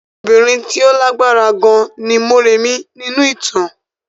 Obìnrin tí ó lágbára gan ni Mọ́rẹ̀mí nínú ìtàn.